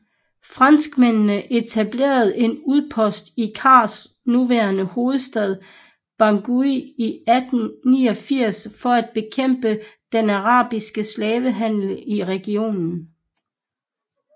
Franskmændene etablerede en udpost i CARs nuværende hovedstad Bangui i 1889 for at bekæmpe den arabiske slavehandel i regionen